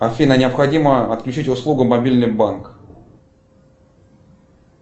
афина необходимо отключить услугу мобильный банк